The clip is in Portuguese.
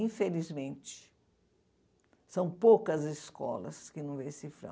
Infelizmente, são poucas escolas que não veem cifrão.